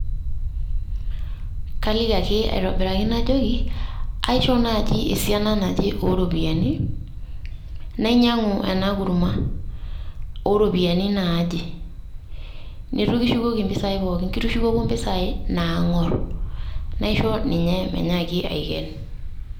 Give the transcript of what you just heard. Kaliki ake aitobiraki najoki, aishoo naji esiana naje o ropiyiani nainyang'u ena kurma o ropiyiani naaje. Neitu kishukoki impisai pookin kitushukoko mpisai naang'or. Naisho ninye menyaki aiken.